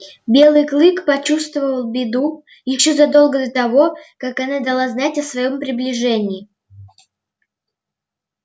белый клык почувствовал беду ещё задолго до того как она дала знать о своём приближении